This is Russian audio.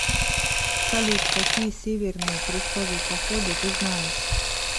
салют какие северные крестовые походы ты знаешь